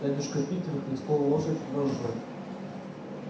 дядюшка питер хлестнул лошадь вожжой